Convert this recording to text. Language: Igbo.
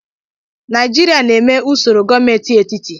Naijiria na-eme usoro gọọmentị etiti.